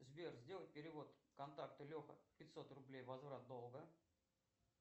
сбер сделай перевод контакту леха пятьсот рублей возврат долга